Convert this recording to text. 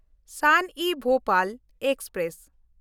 Shan-e-Bhopal express